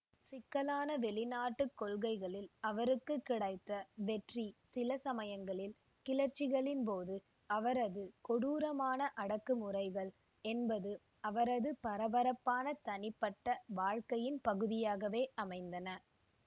சிக்கலான வெளிநாட்டு கொள்கைகளில் அவருக்கு கிடைத்த வெற்றிகள் சில சமயங்களில் கிளர்ச்சிகளின்போது அவரது கொடூரமான அடக்குமுறைகள் என்பன அவரது பரபரப்பான தனிப்பட்ட வாழ்க்கையின் பகுதியாகவே அமைந்தன